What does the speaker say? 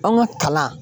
An ka kalan